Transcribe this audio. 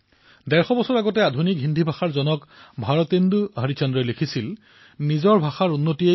ৰংগলোক ভাষাক সংৰক্ষিত কৰাৰ প্ৰয়াসত বিভিন্ন কাৰ্যসূচীৰ আয়োজন কৰা হৈছে পত্ৰিকা প্ৰস্তুত কৰা হৈছে আৰু সামাজিক সংস্থাও ইয়াত সহায়ৰ হাত উজান দিছে